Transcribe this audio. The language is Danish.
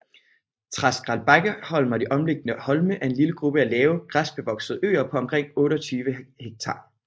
Treskelbakkeholm og de omliggende holme er en lille gruppe lave græsbevoksede øer på omkring 28 hektar